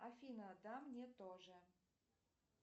афина да мне тоже